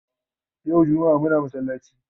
Yau jummaa Muna masallaci